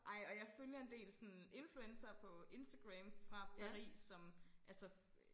Ej og jeg følger en del sådan influencere på Instagram fra Paris som altså